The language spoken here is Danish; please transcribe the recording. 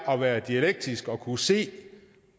at være dialektisk og kunne se